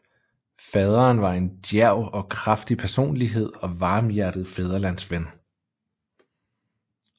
Faderen var en djærv og kraftig personlighed og varmhjertet fædrelandsven